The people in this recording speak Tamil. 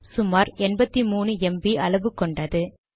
சுமார் 83 ம்ப் அளவு கொண்டது